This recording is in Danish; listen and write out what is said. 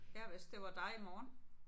Ja hvis det var dig i morgen